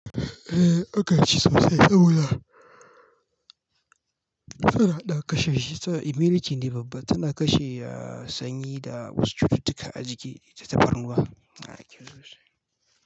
Eh aka ci sosai, aaboda tana ɗakashi, ta email kin ne babba, tana kashe sanyi da wasu cututtuka a jiki da ta barna. A'a kyau sosai.